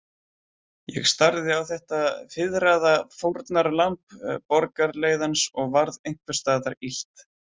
Ég starði á þetta fiðraða fórnarlamb borgarleiðans og varð einhvers staðar illt.